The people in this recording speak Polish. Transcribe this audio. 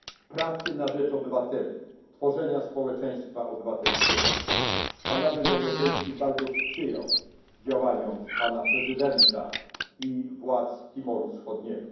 pracy na rzecz obywateli, tworzenia społeczeństwa obywatelskiego. Parlament Europejski bardzo sprzyjał działaniom prezydenta i władz Timoru Wschodniego.